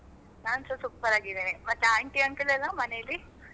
ನಾನ್ ಸ super ಆಗಿದ್ದೇನೆ. ಮತ್ತೆ aunty uncle ಲೆಲ್ಲ ಮನೇಲಿ?